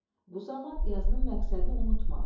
Bu zaman yazının məqsədini unutma.